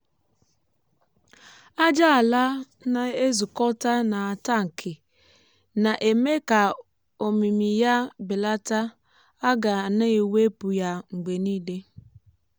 ájá ala na-ezukọta n’atankị na-eme ka omimi ya belata a ga na-ewepụ ya mgbe niile